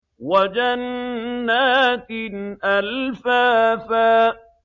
وَجَنَّاتٍ أَلْفَافًا